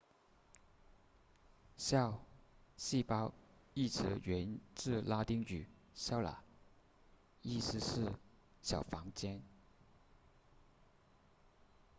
cell 细胞一词源自拉丁语 cella 意思是小房间